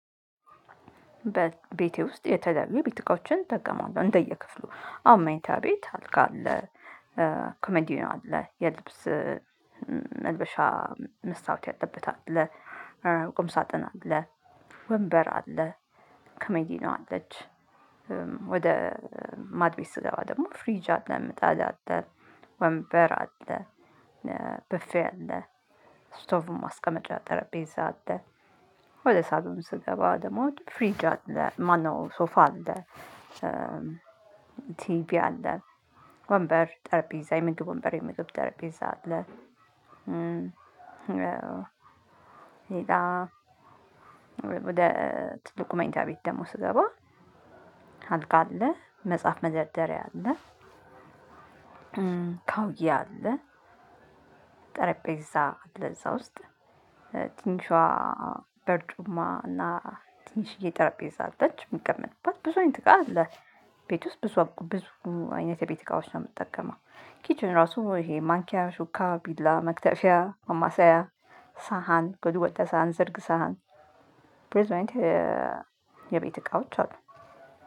በቤቴ ውስጥ የተለያዩ ቤት እቃዎችን እጠቀመዋለሁ እንደየክፍሉ አሁን መኝታ ቤት አልጋ አለ። ኮመንዲዮ አለ የልብስ መልበሻ መስታወት ያለበት አለ። ቁም ሳጥን አለ። ወንበር አለ። ከመዲኖ አለች። ወደ ማድ ቤት ስገባ ደግሞ ፍሪጅ አለ ምጣድ አለ። ወንበር አለ። ብፌ አለ። እስቶቭ ማስቀመጫ ጠረዼዛ አለ። ወደ ሳሎን ስገባ ደሞ ፍሪጅ አለ ማነው ሶፋ አለ። ቲቪ አለ። ወንበር ጠረጴዛ የምግብ ወንበር የምግብ ጠረጴዛ አለ። ሌላ ወደ ትልቁ መኝታ ቤት ደግሞ ስገባ አልጋ አለ መጽሐፍ መደርደሪያ አለ። ካውዬ አለ። ጠረጴዛ አለእዛ ውስጥ ትንሿ በርጩማ እና ትንሽዬ ጠረጴዛ አለች እምቀመጥባት ብዙ አይነት እቃ አለ። ቤት ውስጥ ብዙ ብዙ አይነት የቤት እቃዎች ነው የምጠቀመው። ኪችን ራሱ ይሄ ማንኪያ ሹካ ቢላ መክተፊያ ማማሳያ ሳህን ጎድጓዳ ሳህን ዝርግ ሳህን ብዙ አይነትቸየቤት እቃዎች አሉ።